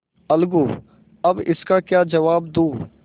अलगूअब इसका क्या जवाब दूँ